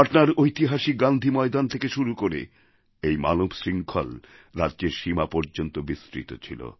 পাটনার ঐতিহাসিক গান্ধী ময়দান থেকে শুরু করে এই মানবশৃঙ্খল রাজ্যের সীমা পর্যন্ত বিস্তৃত ছিল